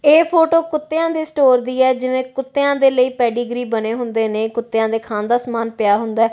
ਇਹ ਫ਼ੋਟੋ ਕੁੱਤਿਆਂ ਦੇ ਸਟੋਰ ਦੀ ਐ ਜਿਵੇਂ ਕੁੱਤਿਆਂ ਦੇ ਲਈ ਪੈਡੀਗ੍ਰੀ ਬਣੇ ਹੁੰਦੇ ਨੇਂ ਕੁੱਤਿਆਂ ਦੇ ਖਾਣ ਦਾ ਸਾਮਾਨ ਪਿਆ ਹੁੰਦਾ ਐ।